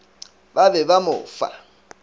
ba be ba mo fa